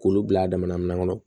K'olu bila a damana min kɔnɔ